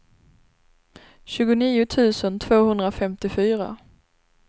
tjugonio tusen tvåhundrafemtiofyra